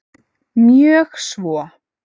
Mjög svo